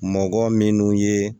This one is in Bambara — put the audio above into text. Mɔgɔ minnu ye